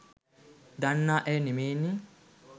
දන්න අය නෙමේනේ.